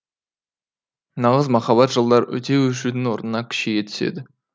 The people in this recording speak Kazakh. нағыз махаббат жылдар өте өшудің орнына күшейе түседі